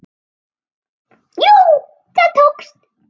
Jú, það tókst!